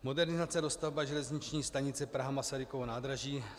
Modernizace a dostavba železniční stanice Praha - Masarykovo nádraží.